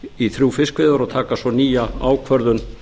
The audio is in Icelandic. í þrjú fiskveiðiár og taka svo nýja ákvörðun